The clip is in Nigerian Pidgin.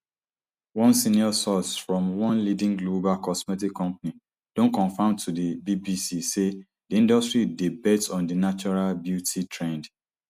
one senior source from one leading global cosmetic company don confam to di bbc say di industry dey bet on di natural beauty trend